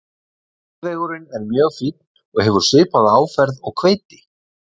Jarðvegurinn er mjög fínn og hefur svipaða áferð og hveiti.